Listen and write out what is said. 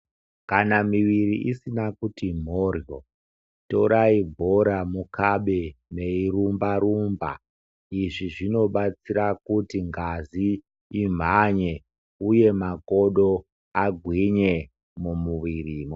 Kana muviri isina kutimhoryo torai bhomukabe mweirumba rumba izvi zvinobatsira kuti ngazi imhanye uye makodo agwinye mumuviri.